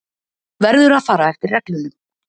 Verður að fara eftir reglunum.